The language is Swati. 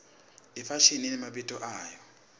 ifashimi imemabito ayo